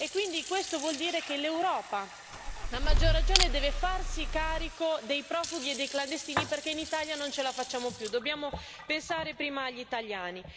Quindi questo vuol dire che l'Europa, a maggior ragione, deve farsi carico dei profughi e dei clandestini, perché in Italia non ce la facciamo più, dobbiamo pensare prima agli italiani.